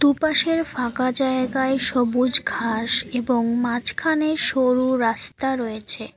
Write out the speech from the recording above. দুপাশের ফাঁকা জায়গায় সবুজ ঘাস এবং মাঝখানে সরু রাস্তা রয়েছে।